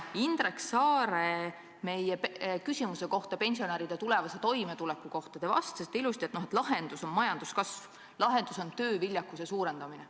Indrek Saare küsimusele pensionäride tulevase toimetuleku kohta te vastasite ilusti, et lahendus on majanduskasv, lahendus on tööviljakuse suurendamine.